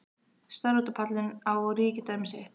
Starði út á pallinn, á ríkidæmi sitt.